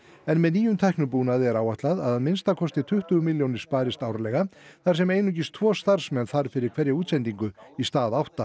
en með nýjum tæknibúnaði er áætlað að að minnsta kosti tuttugu milljónir sparist árlega þar sem einungis tvo starfsmenn þarf fyrir hverja útsendingu í stað átta